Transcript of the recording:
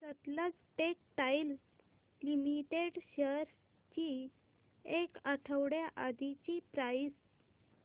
Sutlej textiles limited shares ची एक आठवड्या आधीची प्राइस